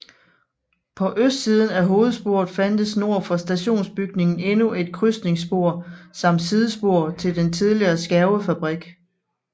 På østsiden af hovedsporet fandtes nord for stationsbygningen endnu et krydsningsspor samt sidespor til den tidligere skærvefabrik